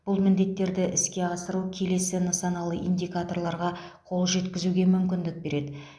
бұл міндеттерді іске асыру келесі нысаналы индикаторларға қол жеткізуге мүмкіндік береді